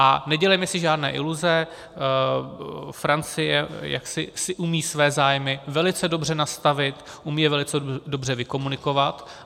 A nedělejme si žádné iluze, Francie si umí své zájmy velice dobře nastavit, umí je velice dobře vykomunikovat.